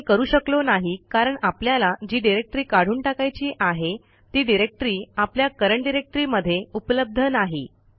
आपण हे करू शकलो नाही कारण आपल्याला जी डिरेक्टरी काढून टाकायची आहे ती डिरेक्टरी आपल्या करंट डायरेक्टरी मध्ये उपलब्ध नाही